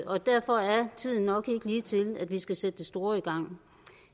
og derfor er tiden nok ikke lige til at vi skal sætte det store i gang